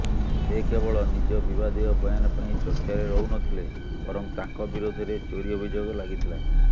ସେ କେବଳ ନିଜ ବିବାଦୀୟ ବୟାନ ପାଇଁ ଚର୍ଚ୍ଚାରେ ରହୁନଥିଲେ ବରଂ ତାଙ୍କ ବିରୋଧରେ ଚୋରି ଅଭିଯୋଗ ଲାଗିଥିଲା